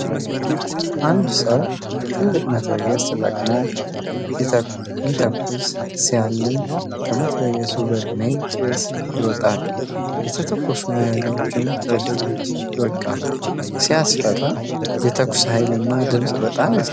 አንድ ሰው ትልቅ መትረየስ ተጠቅሞ ሲተኩስ ሲያልም!። ከመትረየሱ በርሜል ጭስ ይወጣል፣ የተተኮሱ መያዣዎችም ወደ ታች ይወድቃሉ። ሲያስፈራ! የተኩሱ ኃይልና ድምፅ በጣም ያስደነግጣል።